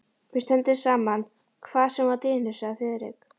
Við stöndum saman hvað sem á dynur sagði Friðrik.